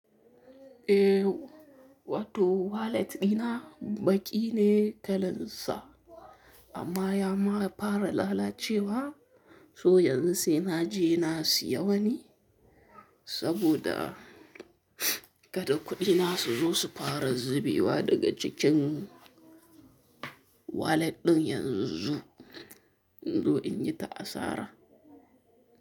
Eh, wato walet ɗina baƙi ne kalan sa, amma ya ma fara lalacewa, so yanzu sai na je na siya wani. Saboda kada kuɗi na su zo su fara zubewa daga cikin walet ɗin yanzu, in zo in yi ta asara.